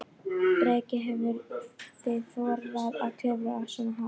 Breki: Hefðuð þið þorað að klifra svona hátt?